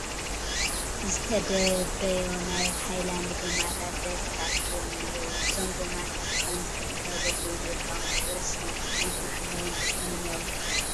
ዝተደብረዮ ናይ ሃይላንድ ጐማታት ብብዝሒ ተኣኪቦም እኔህዉ፡፡ እዞም ጐማታት ብኸምዚ ከካብ ቦትኡ ምእካቦም ንሕብረተሰብ እንታይ ዓይነት ማሕበራዉን ኢኮነሚያዊን ረብሓ ክህብ ይኽእል?